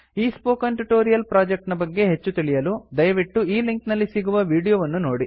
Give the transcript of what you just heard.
ಈ spoken tutorial project ನ ಬಗ್ಗೆ ಹೆಚ್ಚು ತಿಳಿಯಲು ದಯವಿಟ್ಟು ಈ ಲಿಂಕ್ ನಲ್ಲಿ ಸಿಗುವ ವೀಡಿಯೋ ವನ್ನು ನೋಡಿ